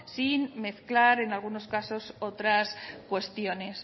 sin mezclar en algunos casos otras cuestiones